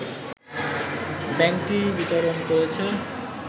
ব্যাংকটি বিতরণ করেছে